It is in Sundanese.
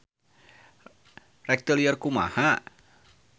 Rek teu lieur kumaha.